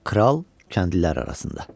Kral kəndlilər arasında.